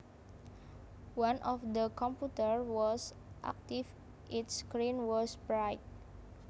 One of the computers was active its screen was bright